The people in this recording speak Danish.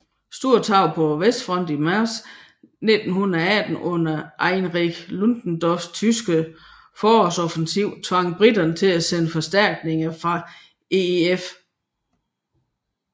Store tab på Vestfronten i marts 1918 under Erich Ludendorffs tyske forårsoffensiv tvang briterne til at sende forstærkninger fra EEF